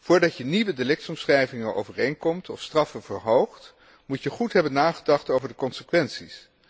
Voordat je nieuwe delictsomschrijvingen overeenkomt of straffen verhoogt, moet je goed hebben nagedacht over de consequenties.